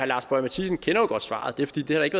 lars boje mathiesen kender jo godt svaret det er fordi der ikke